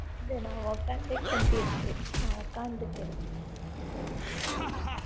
நான் உட்கார்ந்து கொண்டிருக்கிறேன் நான் உட்கார்ந்து உட்காந்துக்கிறேன்